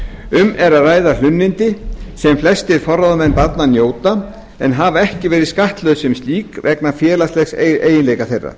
um er að ræða hlunnindi sem flestir forráðamenn barna njóta en hafa ekki verið skattlögð sem slík vegna félagslegs eiginleika þeirra